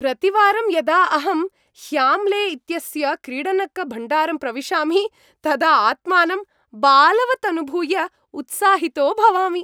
प्रतिवारं यदा अहं ह्याम्ले इत्यस्य क्रीडनकभण्डारं प्रविशामि तदा आत्मानं बालवत् अनुभूय उत्साहितो भवामि।